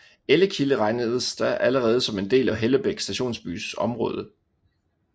Ellekilde regnedes da allerede som en del af Hellebæk stationsbys område